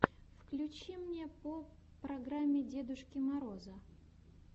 включи мне по программе дедушки мороза